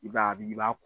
I b'a bi i b'a